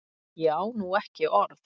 Ég á nú ekki orð!